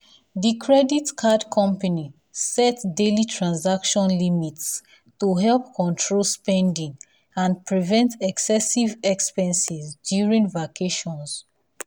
the credit card company set daily transaction limits to help control spending and prevent excessive expenses during vacations.